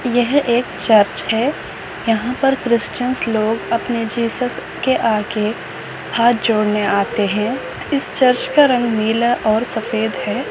यह एक चर्च है यहाँ पर क्रिश्चन्स लोग अपने जिसेस के आगे हात जोड़ने आते है इस चर्च का रंग नीला और सफ़ेद है।